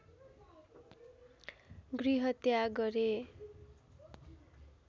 गृहत्याग गरे